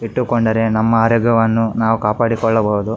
ಇಟ್ಟುಕೊಂಡರೆ ನಮ್ಮ ಆರೋಗ್ಯವನ್ನು ನಾವು ಕಾಪಾಡಿಕೊಳ್ಳಬಹುದು.